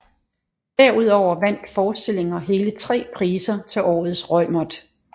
Derudover vandt forestillinger hele 3 priser til Årets Reumert